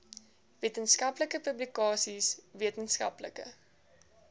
wetenskaplike publikasies wetenskaplike